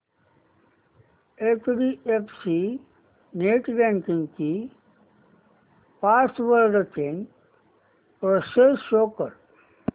HDFC net banking ची password change process show कर